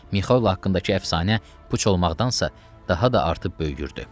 Mikayl haqqındakı əfsanə puç olmaqdansə daha da artıb böyüyürdü.